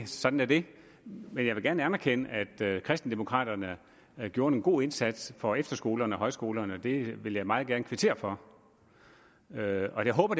sådan er det men jeg vil gerne anerkende at kristendemokraterne gjorde en god indsats for efterskolerne og højskolerne og det vil jeg meget gerne kvittere for og jeg håber